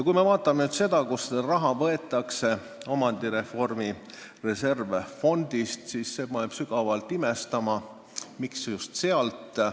Kui me vaatame nüüd seda, kust see raha võetakse – omandireformi reservfondist –, siis see paneb sügavalt imestama, miks just sealt.